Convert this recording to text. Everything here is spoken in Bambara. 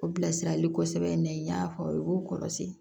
O bilasirali sɛbɛn in na n y'a fɔ aw ye k'o kɔlɔsi